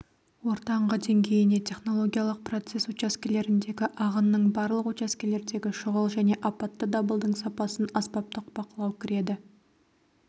ортаңғы деңгейіне технологиялық процесс учаскелеріндегі ағынның барлық учаскелердегі шұғыл және апатты дабылдың сапасын аспаптық бақылау кіреді